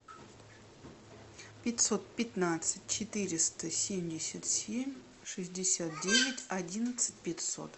пятьсот пятнадцать четыреста семьдесят семь шестьдесят девять одиннадцать пятьсот